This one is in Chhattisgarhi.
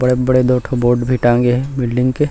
बड़े-बड़े दो ठो बोर्ड भी टाँगे हे बिल्डिंग के--